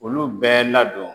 Olu bɛɛ ladon